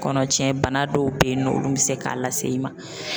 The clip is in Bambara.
Kɔnɔcɛn bana dɔw be ye nɔ olu be se k'a lase i ma.